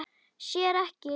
Sér ekki leik minn.